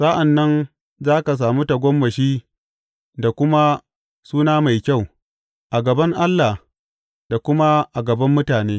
Sa’an nan za ka sami tagomashi da kuma suna mai kyau a gaban Allah da kuma a gaban mutane.